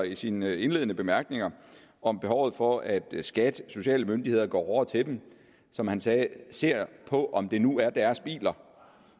i sine indledende bemærkninger om behovet for at skat og sociale myndigheder går hårdere til dem som han sagde og ser på om det nu er deres biler